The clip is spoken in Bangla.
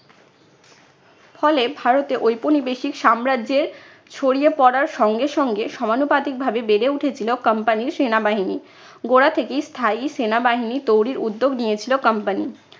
ফলে ভারতে ঔপনিবেশিক সাম্রাজ্যের ছড়িয়ে পড়ার সঙ্গে সঙ্গে সমানুপাতিক ভাবে বেড়ে উঠেছিল company র সেনাবাহিনী। গোড়া থেকেই স্থায়ী সেনাবাহিনী তৈরির উদ্যোগ নিয়েছিল company